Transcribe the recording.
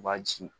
U b'a ci